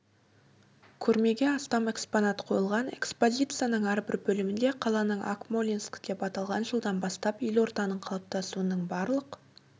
көрмеге астам экспонат қойылған экспозицияның әрбір бөлімінде қаланың акмолинск деп аталған жылдан бастап елорданың қалыптасуының барлық